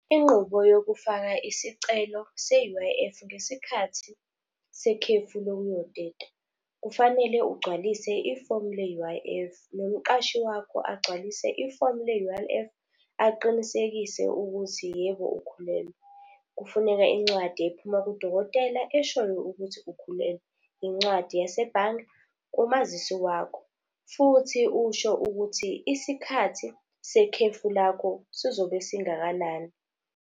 Inqubo yokufaka isicelo se-U_I_F ngesikhathi sekhefu lokuyoteta, kufanele ugcwalise ifomu le-U_I_F, nomqashi wakho agcwalise ifomu le-U_I_F aqinisekise ukuthi yebo ukhulelwe. Kufuneka incwadi ephuma kudokotela eshoyo ukuthi ukhulelwe, incwadi yasebhange kumazisi wakho. Futhi usho ukuthi isikhathi sekhefu lakho sizobe singakanani.